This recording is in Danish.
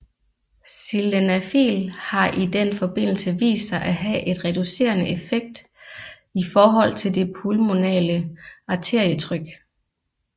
Sildenafil har i den forbindelse vist sig at have en reducerende effekt i forhold til det pulmonale arterietryk